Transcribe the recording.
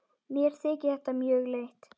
Mér þykir þetta mjög leitt.